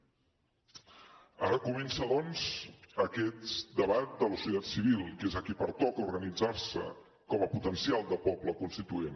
ara comença doncs aquest debat de la societat civil que és a qui pertoca organitzar se com a potencial de poble constituent